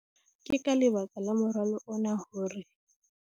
Ke ka lebaka la moralo ona hore